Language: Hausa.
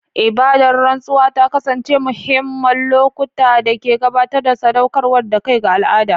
Ibadar rantsuwa ta kasance muhimman lokuta da ke tabbatar da sadaukar da kai ga al'ada.